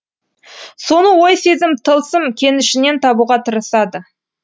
соны ой сезім тылсым кенішінен табуға тырысады